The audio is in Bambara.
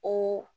O